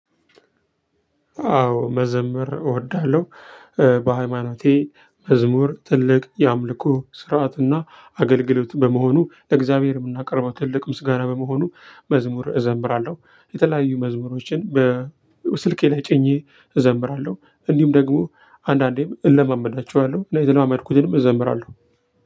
አዎ መዘምር እወዳለሁ። በሃይማኖቴ መዝሙር ትልቅ የአምልኮ ስርዓትና አገልግሎት በመሆኑ ለእግዚአብሔር የምናቀርበው ትልቅ ምስጋና በመሆኑ መዝሙር እዘምራለሁ። የተለያዩ መዝሙሮችን በስልኬ ላይ ጭኜ እዘምራለሁ። እንዲሁም ደግሞ አንዳንዴም እለማመዳቸዋለሁ። የተለማመድኩትንም እዘምራለሁ።